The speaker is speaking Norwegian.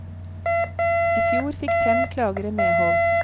I fjor fikk fem klagere medhold.